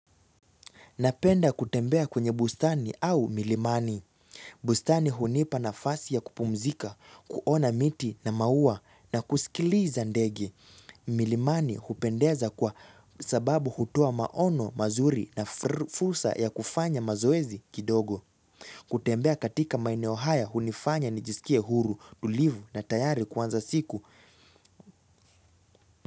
Napenda kutembea kwenye bustani au milimani. Bustani hunipa nafasi ya kupumzika, kuona miti na maua na kusikiliza ndege. Milimani hupendeza kwa sababu hutoa maono mazuri na fursa ya kufanya mazoezi kidogo. Milimani hupendeza kwa sababu hutoa maono mazuri na fursa ya kufanya mazoezi kidogo.